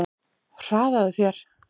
Hraðaðu þér!